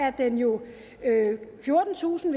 at den jo er fjortentusind